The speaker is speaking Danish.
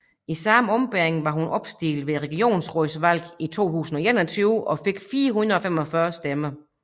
I samme ombæringen var hun opstillet ved Regionsrådsvalg 2021 og fik 445 stemmer